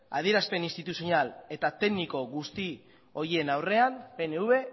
adierazpen instituzional eta tekniko guzti horien aurrean pnv